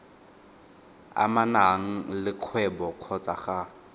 amanang le kgwebo kgotsa ga